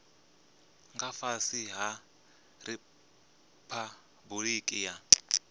nga fhasi ha riphabuliki ya